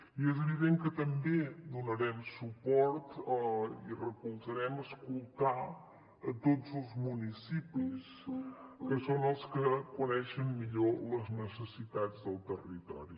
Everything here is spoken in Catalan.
i és evident que també donarem suport i recolzarem escoltar tots els municipis que són els que coneixen millor les necessitats del territori